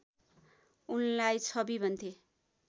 उनलाई छवि भन्थे